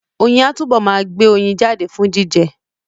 Oyin á túbọ̀ ma gbé oyin jáde fún jíjẹ